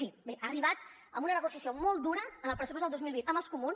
sí bé ha arribat amb una negociació molt dura en el pressupost del dos mil vint amb els comuns